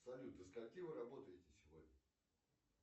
салют до скольки вы работаете сегодня